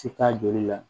Ti taa joli la